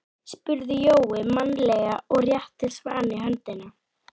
spurði Jói mannalega og rétti Svani höndina.